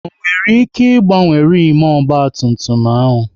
Ọ nwere ike ị gbanwe rimu ọgba tum tum ahụ?